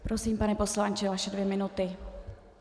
Prosím, pane poslanče, vaše dvě minuty.